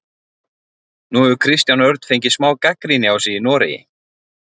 Nú hefur Kristján Örn fengið smá gagnrýni á sig í Noregi?